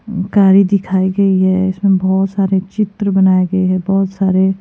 गाड़ी दिखाई दे रही है जिसमें बहुत सारे चित्र बनाए गए हैं बहुत सारे--